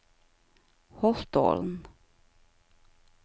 Holtålen